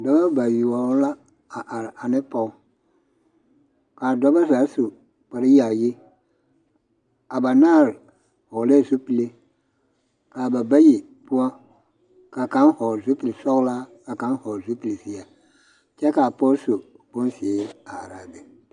Dɔba bayoɔ la are ane pɔge kaa dɔba zaa su kpar yaayi a banaare vɔgelɛɛ zupili kaa bayi poɔ ka kaŋ vɔgele zupili sɔɔlaa ka kaŋ vɔgele zupile zeɛ kyɛ kaa pɔge su bonzeere are a be